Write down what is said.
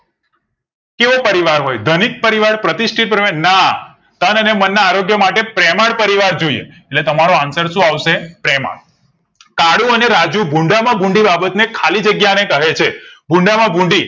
કયો પરિવાર હોય ધનિક પરિવાર, પ્રતિષ્ટિતિથિ પરિવાર ના તન અને મનના આરોગ્ય માટે પ્રેમાળ પરિવાર જોઈએ એટલે તમારો answer સો આવશે પ્રેમાળ કાળુ અને રાજુ ભૂંડા માં ભૂંડી બાબત ને ખાલી જગ્યા ને કહે છે ભૂંડા માં ભૂંડી